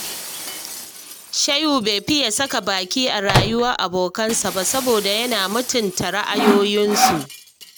Shehu bai fiya saka baki a rayuwar abokansa ba, Saboda yana mutunta ra'ayoyinsu